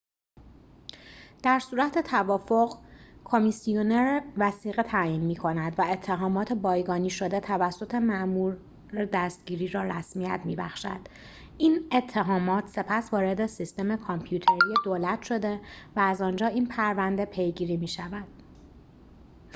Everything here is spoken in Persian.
در صورت توافق کمیسیونر وثیقه تعیین می‌کند و اتهامات بایگانی شده توسط مأمور دستگیری را رسمیت می‌بخشد این اتهامات سپس وارد سیستم کامپیوتری دولت شده و از آنجا این پرونده پیگیری می‌شود